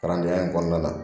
Kalandenya in kɔnɔna na